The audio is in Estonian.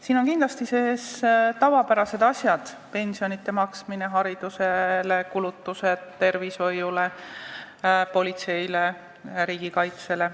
Siin on kindlasti sees tavapärased asjad: pensionide maksmine, kulutused haridusele, tervishoiule, politseile, riigikaitsele.